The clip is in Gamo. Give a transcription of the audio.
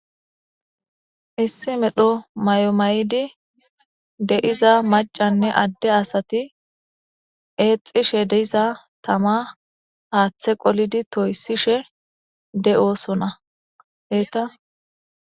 Issi medho may'omayidi de'iza macanne adde asati eexxishe deiza tama haaththe qolidi toyssishe de'osona eeta